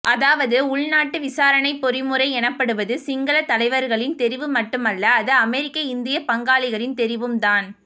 அதாவது உள்நாட்டு விசாரணைப் பொறிமுறை எனப்படுவது சிங்களத் தலைவர்களின் தெரிவு மட்டுமல்ல அது அமெரிக்க இந்தியப் பங்காளிகளின் தெரிவும் தான்